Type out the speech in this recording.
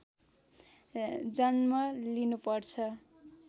जन्म लिनु पर्छ